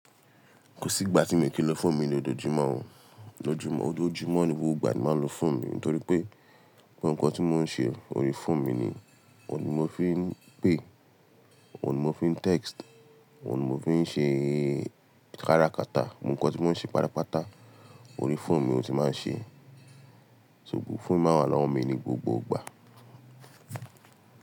Kò sí ìgbà tí mi ò kí lo foonu mi ní ojo jumọ̀ o. Ojo Jumọ̀ ní gbogbo ìgbà ni màá lo fọ́ọ̀mù mi nítorí pé gbogbo ǹkan tí mò ń ṣe ori fọ́ọ̀mù mi ni. Òun ni mò fi ń pè, òun ni mò fi ń text, òun ni mò fi ń ṣe kára kata. Gbogbo ǹkan tí mò ń ṣe pátápátá ori fọ́ọ̀mù mi ni mo ti máa ń ṣe. Ṣugbòn fọ́ọ̀mù mi máa wà lọ́wọ́ mi ní gbogbo ìgbà.